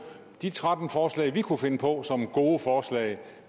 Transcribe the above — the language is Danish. de tretten forslag vi kunne finde på som gode forslag